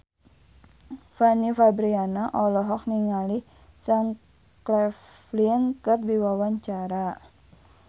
Fanny Fabriana olohok ningali Sam Claflin keur diwawancara